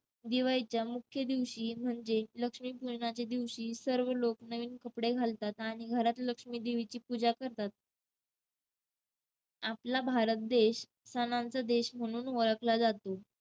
दिवाळीच्या मुख्य दिवशी म्हणजे लक्ष्मीपूजनाच्या दिवशी सर्व लोक नवीन कपडे घालतात. आणि घरात लक्ष्मी देवीची पूजा करतात. आपला भारत देश सणांचा देश म्हणून ओळखला जातो.